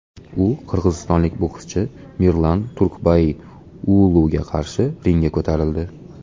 U qirg‘izistonlik bokschi Mirlan Turkbai Uuluga qarshi ringga ko‘tarildi.